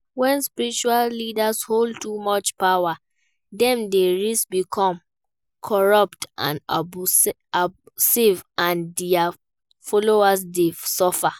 When spiritual leaders hold too much power, dem dey risk becoming corrupt and abusive and dia followers dey suffer.